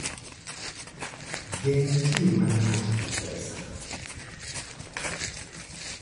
Geng' tiyo marach gi pesa.